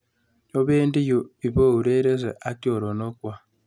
Opendi yun ipourerense ak choronok kwok.